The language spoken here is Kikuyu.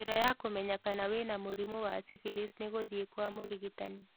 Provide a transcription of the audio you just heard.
Njira yakũmenya kana wĩna mũrimũ wa syphilis nĩ gũthiĩ kwa mũrigitani